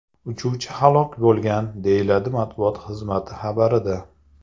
Uchuvchi halok bo‘lgan”, deyiladi matbuot xizmati xabarida.